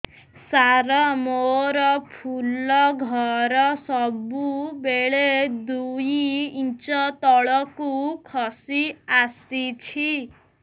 ସାର ମୋର ଫୁଲ ଘର ସବୁ ବେଳେ ଦୁଇ ଇଞ୍ଚ ତଳକୁ ଖସି ଆସିଛି